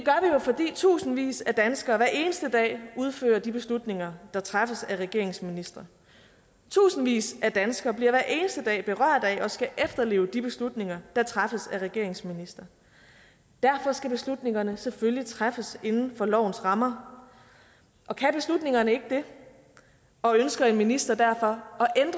fordi tusindvis af danskere hver eneste dag udfører de beslutninger der træffes af regeringens ministre tusindvis af danskere bliver hver eneste dag berørt af og skal efterleve de beslutninger der træffes af regeringens ministre derfor skal beslutningerne selvfølgelig træffes inden for lovens rammer og kan beslutningerne ikke det og ønsker en minister derfor